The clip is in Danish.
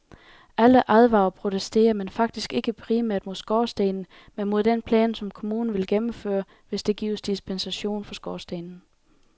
Alle advarer og protesterer, men faktisk ikke primært mod skorstenen, men mod den plan, som kommunen vil gennemføre, hvis der gives dispensation for skorstenen.